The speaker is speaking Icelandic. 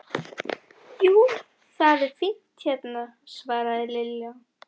Jú, það er fínt hérna svaraði Lilla.